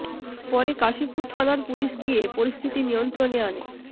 পরে কাশীপুর থানার পুলিশ গিয়ে পরিস্থিতি নিয়ন্ত্রণে আনে